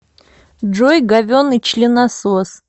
джой говенный членосос